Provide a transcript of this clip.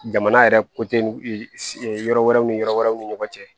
Jamana yɛrɛ yɔrɔ wɛrɛw ni yɔrɔ wɛrɛw ni ɲɔgɔn cɛ